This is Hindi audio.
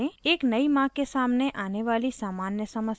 एक नयी माँ के सामने आने वाली सामान्य समस्याएं और